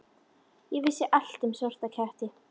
Ég vissi allt um svarta ketti.